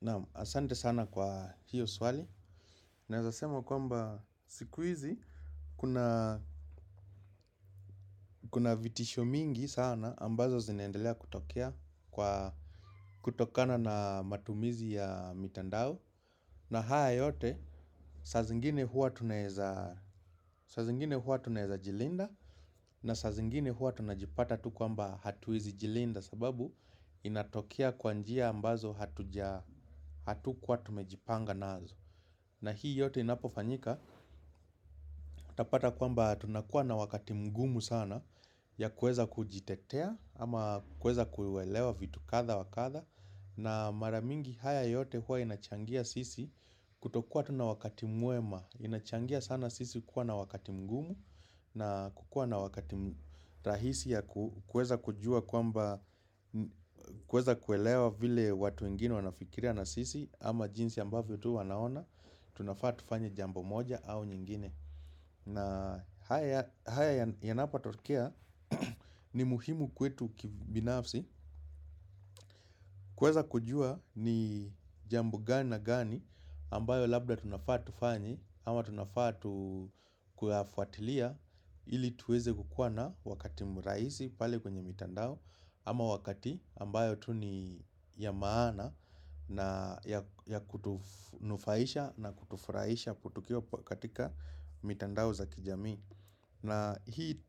Naamu, asante sana kwa hiyo swali. Naeza sema kwamba siku hizi, kuna vitisho mingi sana ambazo zinaendelea kutokea kutokana na matumizi ya mitandao. Na haya yote, saa zingine huwa tunaeza jilinda na saa zingine huwa tunajipata tu kwamba hatuwezi jilinda sababu inatokea kwa njia ambazo hatukuwa tumejipanga nazo. Na hii yote inapofanyika, utapata kwamba tunakuwa na wakati mgumu sana ya kuweza kujitetea ama kueza kuelewa vitu kadha wa kadha. Na mara mingi haya yote huwa inachangia sisi kutokua tu na wakati mwema. Inachangia sana sisi kuwa na wakati mgumu na kukua na wakati rahisi ya kueza kujua kwamba kueza kuelewa vile watu wengini wanafikiria na sisi ama jinsi ambavyo tu wanaona tunafaa tufanya jambo moja au nyingine. Na haya yanapotokea ni muhimu kwetu kibinafsi. Kuweza kujua ni jambo gani na gani ambayo labda tunafaa tufanye ama tunafaa tu kuyafuatilia ili tuweze kukua na wakati mrahisi pale kwenye mitandao. Ama wakati ambayo tu ni ya maana na ya kutunufaisha na kutufurahisha kutukio katika mitandao za kijamii. Na hii,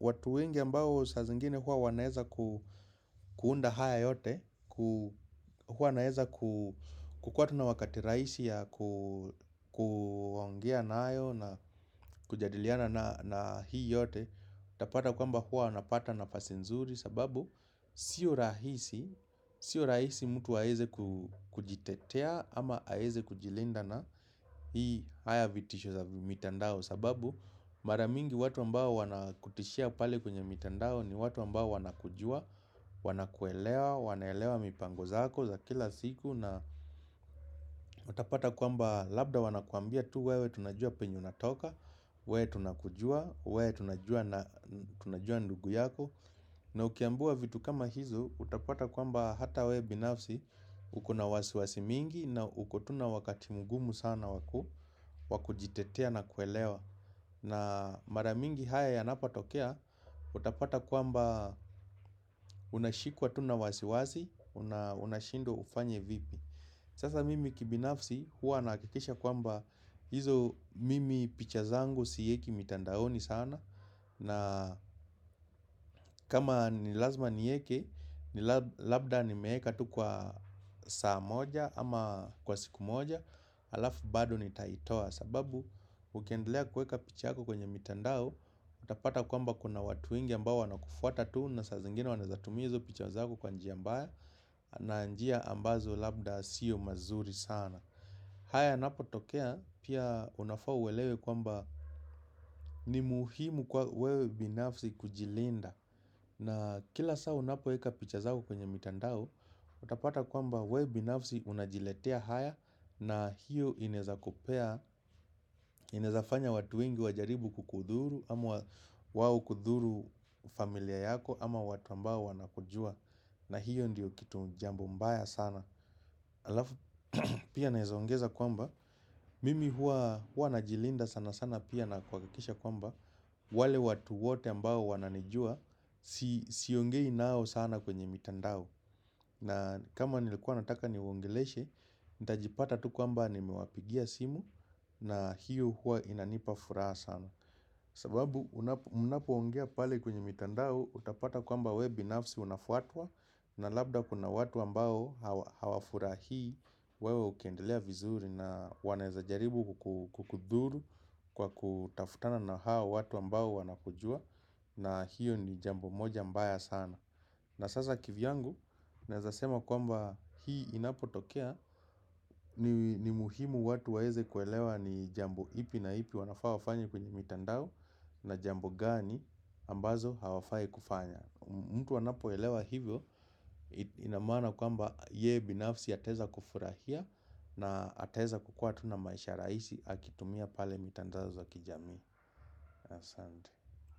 watu wengi ambao saa zingine huwa wanaeza kuunda haya yote. Huwa wanaeza kukuwa tu na wakati rahisi ya kuongea nayo na kujadiliana na hii yote. Utapata kwamba huwa wanapata nafasi nzuri sababu sio rahisi, sio rahisi mtu aeze kujitetea ama aeze kujilinda na hii haya vitisho za mitandao. Sababu mara mingi watu ambao wanakutishia pale kwenye mitandao ni watu ambao wanakujua. Wanakuelewa, wanaelewa mipango zako za kila siku na utapata kwamba labda wanakwambia tu wewe tunajua penye unatoka. Wewe tunakujua, wewe tunajua ndugu yako. Na ukiambiwa vitu kama hizo, utapata kwamba hata wewe binafsi uko na wasiwasi mingi na uko tu na wakati mgumu sana wakujitetea na kuelewa. Na mara mingi haya yanapatokea, utapata kwamba unashikwa tu na wasiwasi unashindwa ufanye vipi. Sasa mimi kibinafsi huwa nahakikisha kwamba hizo mimi picha zangu siweki mitandaoni sana. Na kama ni lazima nieke, labda nimeeka tu kwa saa moja ama kwa siku moja alafu bado nitaitoa sababu ukiendelea kueka picha yako kwenye mitandao. Utapata kwamba kuna watu wengi ambao wanakufuata tu na saa zingine wanaezatumia hizo picha zako kwa njia mbaya na njia ambazo labda siyo mazuri sana. Haya yanapotokea pia unafaa uelewe kwamba ni muhimu kwa wewe binafsi kujilinda. Na kila saa unapoeka picha zako kwenye mitandao. Utapata kwamba wewe binafsi unajiletea haya na hiyo inaezakupea. Inaezafanya watu wengi wajaribu kukudhuru ama wao kudhuru familia yako ama watu ambao wanakujua. Na hiyo ndiyo kitu jambo mbaya sana. Alafu pia naezaongeza kwamba, mimi huwa najilinda sana sana pia na kuhakikisha kwamba wale watu wote ambao wananijua, siongei nao sana kwenye mitandao. Na kama nilikuwa nataka niwaongeleshe, nitajipata tu kwamba nimewapigia simu na hiyo huwa inanipa furaha sana. Sababu munapoongea pale kwenye mitandao, utapata kwamba wewe binafsi unafuatwa. Na labda kuna watu ambao hawafurahii wewe ukiendelea vizuri na wanaeza jaribu kukudhuru kwa kutafutana na hao watu ambao wanakujua na hiyo ni jambo moja mbaya sana. Na sasa kivyangu, naeza sema kwamba hii inapotokea. Ni muhimu watu waeze kuelewa ni jambo ipi na ipi wanafaa wafanye kwenye mitandao. Na jambo gani ambazo hawafai kufanya. Mtu anapoelewa hivyo. Ina maana kwamba yeye binafsi ataeza kufurahia. Na ataeza kukua tu na maisha rahisi akitumia pale mitandao za kijamii. Asante.